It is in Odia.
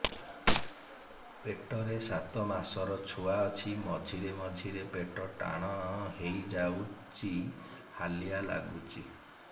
ପେଟ ରେ ସାତମାସର ଛୁଆ ଅଛି ମଝିରେ ମଝିରେ ପେଟ ଟାଣ ହେଇଯାଉଚି ହାଲିଆ ଲାଗୁଚି